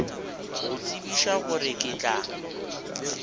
go tsebiša gore ke tla